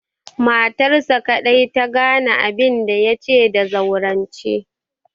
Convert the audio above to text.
Matarsa kaɗai ta gane abinda ya ce da zaurance.